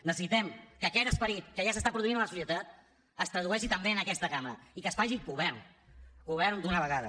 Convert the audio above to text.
necessitem que aquest esperit que ja s’està produint a la societat es tradueixi també en aquesta cambra i que es faci govern govern d’una vegada